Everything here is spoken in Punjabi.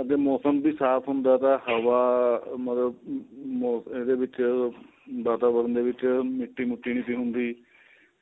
ਅੱਗੇ ਮੋਸਮ ਬੀ ਸਾਫ਼ ਹੁੰਦਾ ਤਾਂ ਹਵਾ ਮਤਲਬ ਅਹ ਅਹ ਇਹਦੇ ਵਿੱਚ ਵਾਤਾਵਰਨ ਦੇ ਵਿੱਚ ਮਿੱਟੀ ਮੁੱਟੀ ਨਹੀਂ ਸੀ ਹੁੰਦੀ